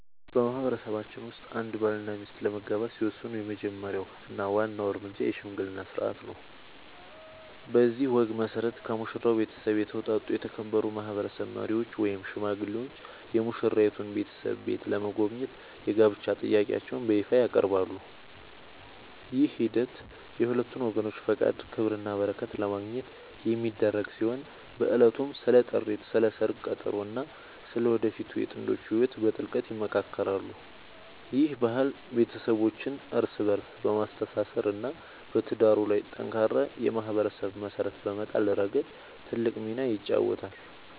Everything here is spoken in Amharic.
በማህበረሰባችን ውስጥ አንድ ባልና ሚስት ለመጋባት ሲወስኑ የመጀመሪያው እና ዋናው እርምጃ **የሽምግልና ሥርዓት** ነው። በዚህ ወግ መሠረት፣ ከሙሽራው ቤተሰብ የተውጣጡ የተከበሩ ማህበረሰብ መሪዎች ወይም ሽማግሌዎች የሙሽራይቱን ቤተሰብ ቤት በመጎብኘት የጋብቻ ጥያቄያቸውን በይፋ ያቀርባሉ። ይህ ሂደት የሁለቱን ወገኖች ፈቃድ፣ ክብርና በረከት ለማግኘት የሚደረግ ሲሆን፣ በዕለቱም ስለ ጥሪት፣ ስለ ሰርግ ቀጠሮ እና ስለ ወደፊቱ የጥንዶቹ ህይወት በጥልቀት ይመካከራሉ። ይህ ባህል ቤተሰቦችን እርስ በእርስ በማስተሳሰር እና በትዳሩ ላይ ጠንካራ የማህበረሰብ መሰረት በመጣል ረገድ ትልቅ ሚና ይጫወታል።